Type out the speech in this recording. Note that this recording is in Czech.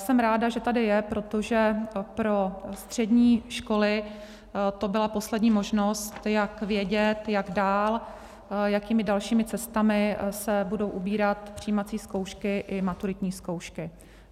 Jsem ráda, že tady je, protože pro střední školy to byla poslední možnost, jak vědět, jak dál, jakými dalšími cestami se budou ubírat přijímací zkoušky i maturitní zkoušky.